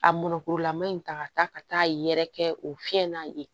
A mɔnnkurulama in ta ka taa ka taa yɛrɛ kɛ o fiɲɛ na yen